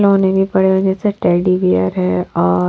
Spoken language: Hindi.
लोने भी पड़े हुए से टेडीबेयर है और।